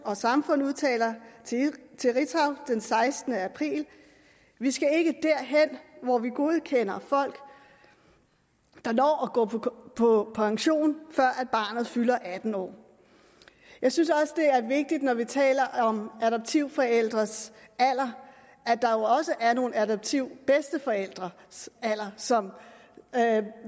samfund udtaler til ritzau den sekstende april vi skal ikke derhen hvor vi godkender folk der når at gå på pension før barnet fylder atten år jeg synes også det er vigtigt når vi taler om adoptivforældres alder at der jo også er nogle adoptivbedsteforældres alder som